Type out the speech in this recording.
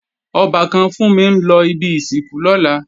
Ọbàkan Fúnmi ń lọ ibi ìsìnkú lọ́la